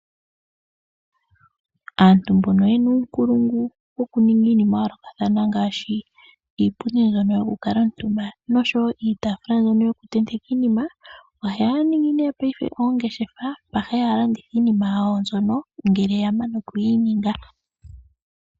Aantu mbono yena uukulungu wokuninga yayoolokathana ngaashi iipundi yokukalwa omitumba noshowo iitaafula mbyono kutendeka iinima, ohaya ningi nee oongeshefa mpoka haya landithile iinima yawo uuna yamana okuyi ninga.